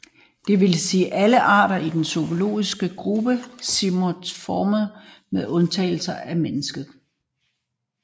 Det vil sige alle arter i den zoologiske gruppe Simiiformes med undtagelse af mennesket